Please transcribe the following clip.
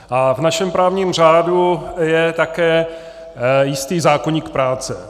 A v našem právním řádu je také jistý zákoník práce.